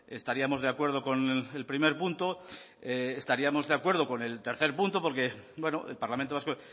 estaríamos de acuerdo con el primer punto estaríamos de acuerdo con el tercer punto porque el parlamento vasco